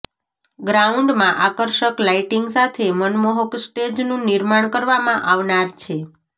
ગ્રાઉન્ડમાં આકર્ષક લાઈટીંગ સાથે મનમોહક સ્ટેજનું નિર્માણ કરવામા આવનાર છે